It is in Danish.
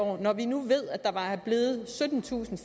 år når vi nu ved at der er blevet syttentusind